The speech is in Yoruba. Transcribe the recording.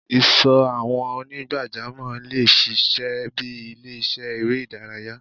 Ìsò àwọn onigbajamo le ṣiṣẹ bi ile-iṣẹ èrè idaraya